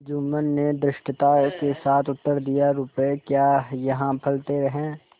जुम्मन ने धृष्टता के साथ उत्तर दियारुपये क्या यहाँ फलते हैं